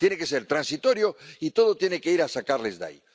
Tiene que ser transitorio y todo tiene que ir a sacarlas de ahí.